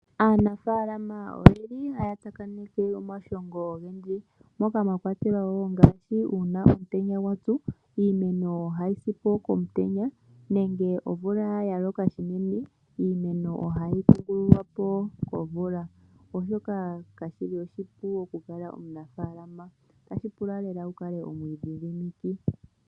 Aanafaalama oyeli haya tsakaneke omashongo ogendji. Moka mwa kwatelwa wo uuna omtenya gwa tsu iimeno ohayi si po komutenya nenge omvula ya loka shinene iimeno ohayi kungululwa po komvula. Oshoka kashi li oshipu okukala omunafaalama otashi pula lela wu kale omwiidhidhimiki.